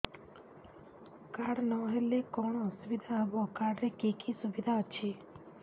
card ନହେଲେ କଣ ଅସୁବିଧା ହେବ କାର୍ଡ ରେ କି କି ସୁବିଧା ଅଛି